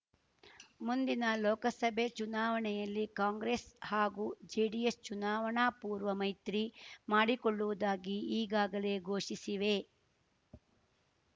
ಮುಂದಿನ ಲೋಕಸಭೆ ಚುನಾವಣೆಯಲ್ಲಿ ಕಾಂಗ್ರೆಸ್‌ ಹಾಗೂ ಜೆಡಿಎಸ್‌ ಚುನಾವಣಾ ಪೂರ್ವ ಮೈತ್ರಿ ಮಾಡಿಕೊಳ್ಳುವುದಾಗಿ ಈಗಾಗಲೇ ಘೋಷಿಸಿವೆ